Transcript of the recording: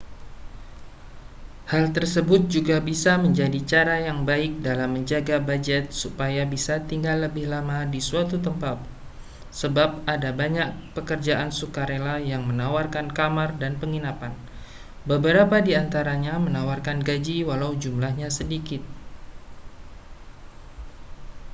hal tersebut juga bisa menjadi cara yang baik dalam menjaga bujet supaya bisa tinggal lebih lama di suatu tempat sebab ada banyak pekerjaan sukarela yang menawarkan kamar dan penginapan beberapa di antaranya menawarkan gaji walau jumlahnya sedikit